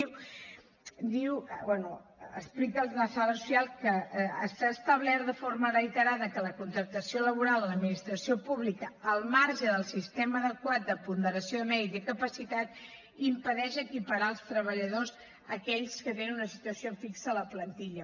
diu bé explica la sala social que s’ha establert de forma reiterada que la contractació laboral amb l’administració pública al marge del sistema adequat de ponderació de mèrit i capacitat impedeix equiparar els treballadors a aquells que tenen una situació fixa a la plantilla